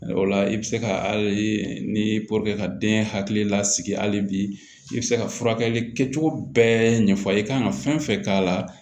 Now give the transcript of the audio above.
O la i bɛ se ka hali ni ka den hakili lasigi hali bi i bɛ se ka furakɛli kɛcogo bɛɛ ɲɛfɔ a ye i kan ka fɛn fɛn k'a la